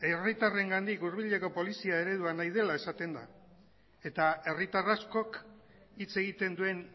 herritarrengandik hurbileko polizia nahi dela esaten da eta herritar askok hitz egiten duen